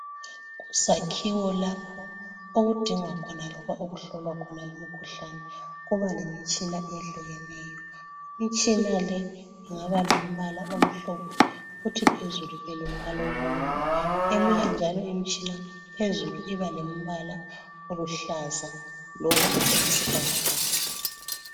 Kuzakhiwo lapho okudingwa khona loba okuhlolwa khona imikhuhlane kuba lemitshina ehlukeneyo imitshina le ingaba lombala omhlophe kuthi phezulu ibe lombala obomvu eminye njalo imitshina phezulu iba lombala oluhlaza loba oyisibhakabhaka.